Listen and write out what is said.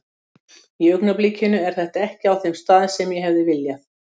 Í augnablikinu er þetta ekki á þeim stað sem ég hefði viljað.